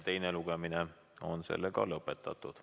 Teine lugemine on sellega lõpetatud.